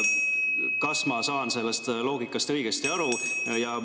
Kas ma saan sellest loogikast õigesti aru?